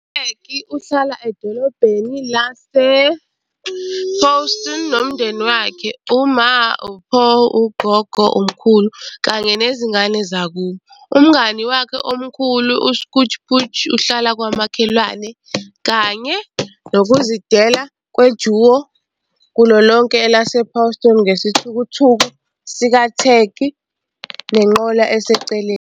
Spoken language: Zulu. U-Tag uhlala edolobheni lase-Pawston nomndeni wakhe - uMa, uPaw, uGogo, umkhulu, kanye nezingane zakubo. Umngani wakhe omkhulu u-Scooch Pooch uhlala kwamakhelwane, kanye nokuzidela kwe-duo kulo lonke elase-Pawston ngesithuthuthu sika-Tag nenqola eseceleni.